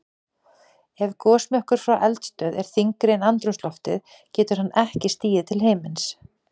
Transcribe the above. Ef gosmökkur frá eldstöð er þyngri en andrúmsloftið getur hann ekki stigið til himins.